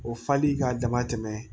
O fali k'a dama tɛmɛ